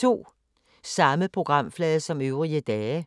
Samme programflade som øvrige dage